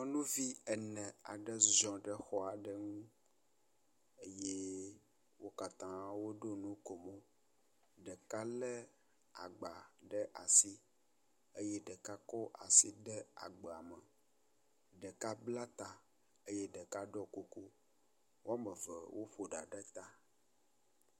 Nyɔnuvi ene aɖe ziɔ ɖe xɔ aɖe ŋun eye wo katã woɖo nukomo. Ɖeka lé agba ɖe asi eye ɖeka kɔ asi de agba me, ɖeka bla ta eye ɖeka ɖɔ kuku. Woame eve woƒo ɖa ɖe ta.